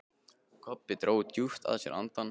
Kobbi dró djúpt að sér andann.